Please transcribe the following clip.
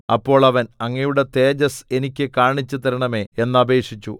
അപ്പോൾ അവൻ അങ്ങയുടെ തേജസ്സ് എനിക്ക് കാണിച്ചു തരണമേ എന്നപേക്ഷിച്ചു